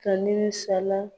Kani nin sara.